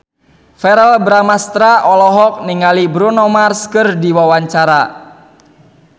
Verrell Bramastra olohok ningali Bruno Mars keur diwawancara